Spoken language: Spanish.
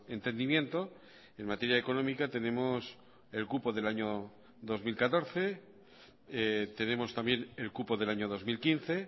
entendimiento en materia económica tenemos el cupo del año dos mil catorce tenemos también el cupo del año dos mil quince